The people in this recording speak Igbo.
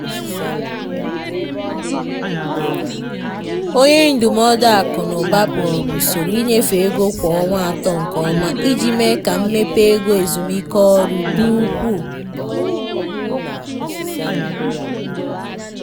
onye ndụmọdụ akụ na ụba kpọrọ usoro ịnyefe ego kwa ọnwa atọ nke ọma iji mee ka mmepe ego ezumike ọrụ dị ukwuu.